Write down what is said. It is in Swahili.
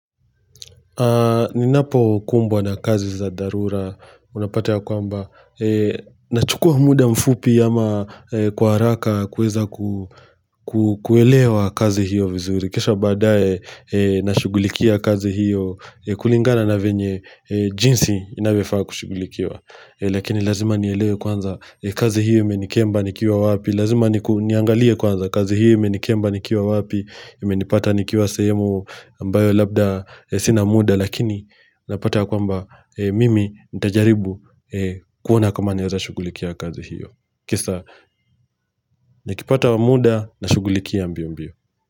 Ni napo kumbwa na kazi za dharura unapata ya kwamba. Nachukua muda mfupi ama kwa haraka kuweza kuelewa kazi hiyo vizuri. Kisha baadae nashugulikia kazi hiyo kulingana na venye jinsi inavyofaa kushugulikia. Lakini lazima nielewe kwanza kazi hiyo menikemba nikiwa wapi Lazima niangalie kwanza kazi hiyo menikemba nikiwa wapi imenipata nikiwa sehemu ambayo labda sina muda Lakini napata kwamba mimi nitajaribu kuona kama naweza shughulikia kazi hiyo Kisa nikipata muda nashughulikia mbio mbio.